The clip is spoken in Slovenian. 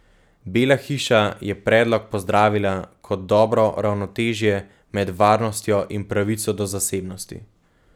Bela hiša je predlog pozdravila kot dobro ravnotežje med varnostjo in pravico do zasebnosti.